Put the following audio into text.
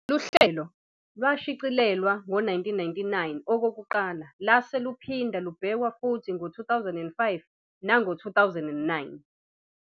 Lolu hlelo lwashicilelwa ngo-1999 okokuqala lase luphinda lubhekwa futhi ngo-2005 nango-2009.